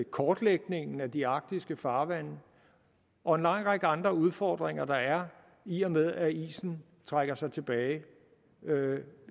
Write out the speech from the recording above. kortlægningen af de arktiske farvande og en lang række andre udfordringer der er i og med at isen trækker sig tilbage